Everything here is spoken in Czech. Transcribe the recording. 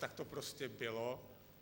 Tak to prostě bylo.